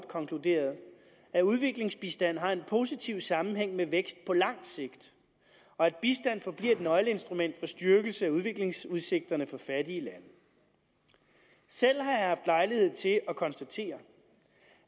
konkluderet at udviklingsbistand har en positiv sammenhæng med vækst på langt sigt og at bistand forbliver et nøgleinstrument for styrkelse af udviklingsudsigterne for fattige lande selv har jeg lejlighed til at konstatere